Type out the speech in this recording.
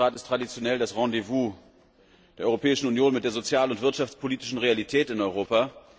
Der Frühjahrs Rat ist traditionell das Rendezvous der Europäischen Union mit der sozialen und wirtschaftspolitischen Realität in Europa.